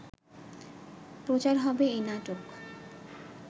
প্রচার হবে এ নাটক